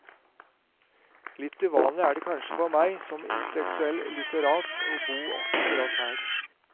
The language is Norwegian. Litt uvanlig er det kanskje for meg som intellektuell litterat å bo akkurat her.